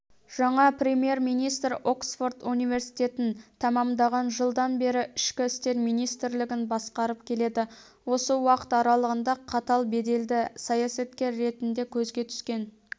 жаңа премьер-министр оксфорд университетін тәмамдаған жылдан бері ішкі істер министрлігін басқарып келеді осы уақыт аралығында қатал беделді саясаткер ретінде көзге түскен